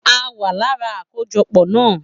A wa lára akojọpọ na